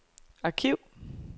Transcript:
arkiv